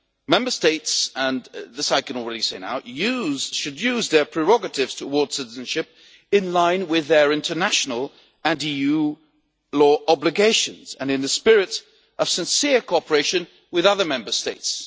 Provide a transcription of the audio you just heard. Member States and this I can already say now should use their prerogatives towards citizenship in line with their international and EU law obligations and in a spirit of sincere cooperation with other Member States.